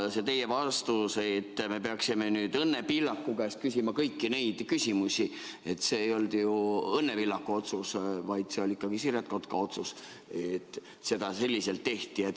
See teie vastus, et me peaksime nüüd Õnne Pillaku käest küsima kõiki neid küsimusi – no see ei olnud ju Õnne Pillaku otsus, vaid see oli ikkagi Siret Kotka otsus, et seda selliselt tehti.